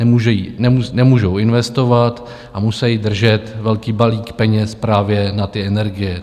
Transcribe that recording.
Nemůžou investovat a musejí držet velký balík peněz právě na ty energie.